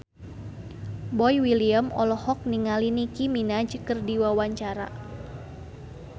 Boy William olohok ningali Nicky Minaj keur diwawancara